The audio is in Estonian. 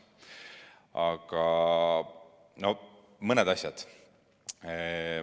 mõned asjad.